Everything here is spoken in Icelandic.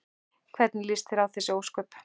Hvernig líst þér á þessi ósköp?